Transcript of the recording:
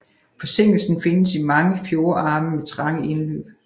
Forsinkelsen findes i mange fjordarme med trange indløb